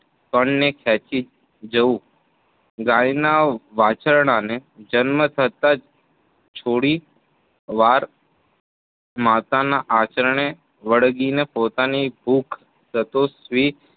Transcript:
કણને ખેંચી જવું, ગાયના વાછરડાને જન્મ થતાં જ થોડીવાર માતાના આચારને વળગીને પોતાની ભૂખ સતોષવી